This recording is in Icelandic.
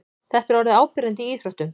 Þetta er orðið áberandi í íþróttum.